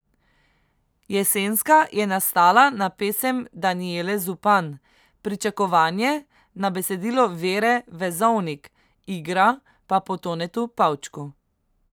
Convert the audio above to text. Jesenska je nastala na pesem Danijele Zupan, Pričakovanje na besedilo Vere Vezovnik, Igra pa po Tonetu Pavčku.